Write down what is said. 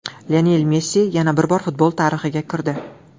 Lionel Messi yana bir bor futbol tarixiga kirdi.